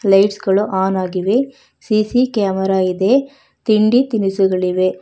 Lights ಗಳು on ಆಗಿವೆ CC camera ಇದೆ ತಿಂಡಿ ತಿನಿಸುಗಳಿವೆ.